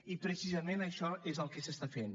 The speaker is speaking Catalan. i precisament això és el que s’està fent